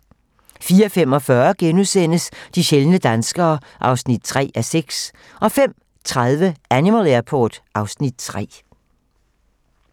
04:45: De sjældne danskere (3:6)* 05:30: Animal Airport (Afs. 3)